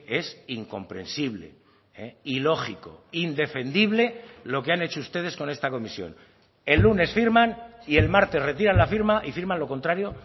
es incomprensible ilógico indefendible lo que han hecho ustedes con esta comisión el lunes firman y el martes retiran la firma y firman lo contrario